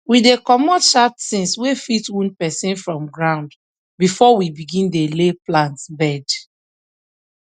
we dey comot sharp things wey fit wound person from ground before we begin dey lay plant bed